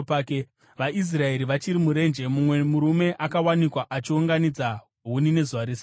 VaIsraeri vachiri murenje, mumwe murume akawanikwa achiunganidza huni nezuva reSabata.